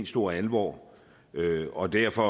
stor alvor og derfor